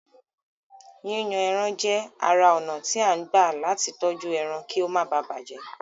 Yíyan ẹran jẹ́ ara ònà tí à ń gbà latí tọ́jú ẹran kí ó máa bàjẹ́